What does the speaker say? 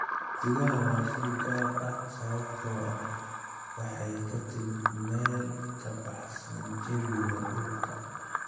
Xidigaha waa shay gaar ah sababtoo ah waxay ka timid meel ka baxsan jawiga dhulka.